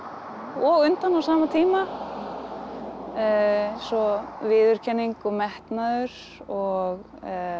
og undan á sama tíma eins og viðurkenning og metnaður og